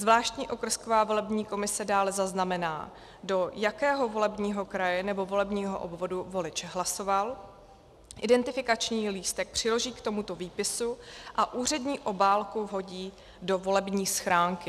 Zvláštní okrsková volební komise dále zaznamená, do jakého volebního kraje nebo volebního obvodu volič hlasoval, identifikační lístek přiloží k tomuto výpisu a úřední obálku vhodí do volební schránky.